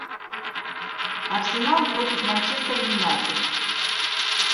арсенал против манчестер юнайтед